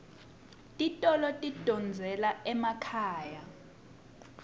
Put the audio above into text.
titolo tidondzela emakhaya